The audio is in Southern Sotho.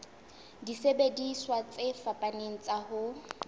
disebediswa tse fapaneng tsa ho